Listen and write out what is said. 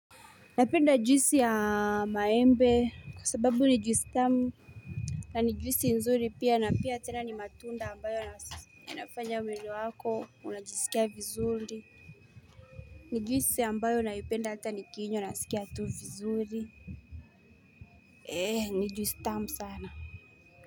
Napenda juisi ya maembe kwa sababu ni juisi tamu na ni juisi nzuri pia na pia tena ni matunda ambayo inafanya mwili wako unajisikia vizuri ni juisi ambayo naipenda hata nikiinywa nasikia tu vizuri Eee ni juisi tamu sana.